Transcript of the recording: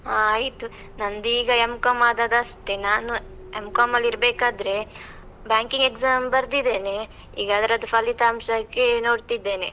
ಹಾ ಆಯ್ತು, ನಂದೀಗ M.com ಅದದಷ್ಟೇ, ನಾನು M.com ಅಲ್ಲಿರ್ಬೇಕಾದ್ರೆ banking exam ಬರ್ದಿದ್ದೇನೆ, ಈಗ ಅದ್ರದ್ದು ಫಲಿತಾಂಶಕ್ಕೆ ನೋಡ್ತಿದ್ದೇನೆ.